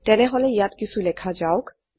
তেনেহলে ইয়াত কিছু লেখা যাওক